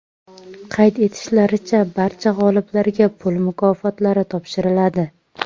Qayd etishlaricha, barcha g‘oliblarga pul mukofotlari topshiriladi.